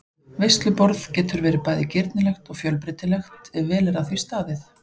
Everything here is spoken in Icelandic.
Veisluborð getur bæði verið girnilegt og fjölbreytilegt ef vel er að því staðið.